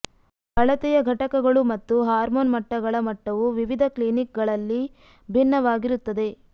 ಅಳತೆಯ ಘಟಕಗಳು ಮತ್ತು ಹಾರ್ಮೋನ್ ಮಟ್ಟಗಳ ಮಟ್ಟವು ವಿವಿಧ ಕ್ಲಿನಿಕ್ಗಳಲ್ಲಿ ಭಿನ್ನವಾಗಿರುತ್ತದೆ